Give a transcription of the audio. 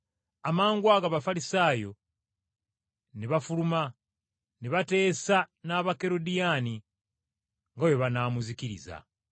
Amangwago Abafalisaayo ne bafuluma ne bateesa n’Abakerodiyaani nga bwe banaamuzikiriza.